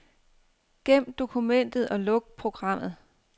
Gem dokumentet og luk programmet.